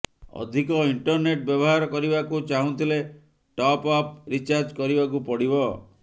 ଅଧିକ ଇଣ୍ଟରନେଟ୍ ବ୍ୟବହାର କରିବାକୁ ଚାହୁଁଥିଲେ ଟପ୍ ଅପ୍ ରିଚାର୍ଜ କରିବାକୁ ପଡ଼ିବ